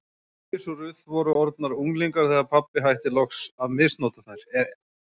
Íris og Ruth voru orðnar unglingar þegar pabbi hætti loks að misnota þær.